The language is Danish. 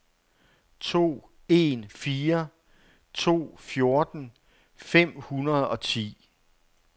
to en fire to fjorten fem hundrede og ti